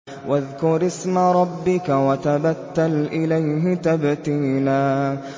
وَاذْكُرِ اسْمَ رَبِّكَ وَتَبَتَّلْ إِلَيْهِ تَبْتِيلًا